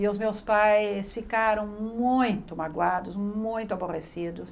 E os meus pais ficaram muito magoados, muito aborrecidos.